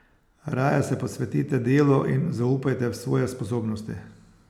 Raje se posvetite delu in zaupajte v svoje sposobnosti.